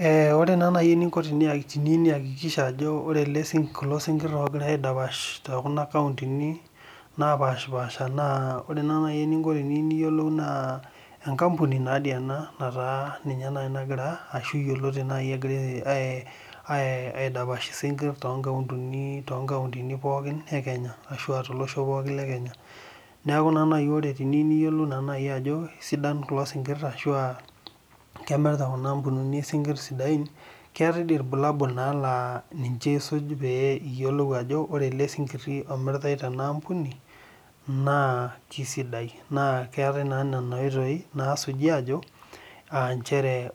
Ee ore nai eninko teniyieu niakikisha ano ore kulo sinkir ogirai aidapash tekuna kauntini napashipaasha naore eniko na enkampuni ena nagira ashu aidapash isinkir to kautini pokki ashu tolosho lekenya neaky ore peyieu niyiolou naibajonsidam kulo sinkir amu kemirta enaampuni sinkir sidain keetae irbulabul na ninche isuj piyiolou ajo ore ele sinkiri omiiritae enaampuni na kesidai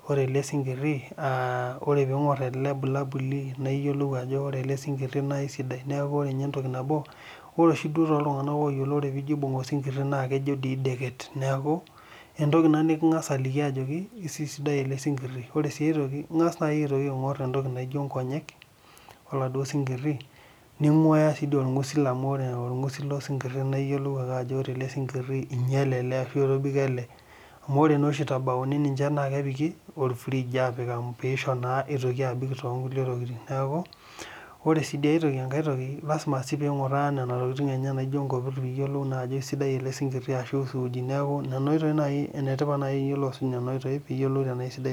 ore pingir elebulalbuli na idol ano ore ele sinkiri na kesidai ore si toltunganak oyiolo na ingasa ajo aibung ele snkiri na kidekeny, entoki na nikingasa aliki ajo sidai elesinkiri ore s enkae toki naingasa aingu nkonyek ele si kiri ninguaya si orngusil amu iyolo orngusil lele sinkiri naiyiolou ajobore ore elesinkiri na kesidai anaa kinyale amu ore itabauni na kepiki orfrige apik amu pisho eitoki abik tonkulie tokitin na lasima oimgura nkopit piyilou ajo kesidai ele sinkiri ashu suuni neaku nonaoitoi nai isuj piyolou ajo sidai